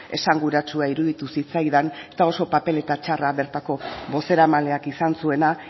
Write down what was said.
esanguratsua iruditu zitzaidan eta oso papeleta txarra bertako bozeramaleak izan zuena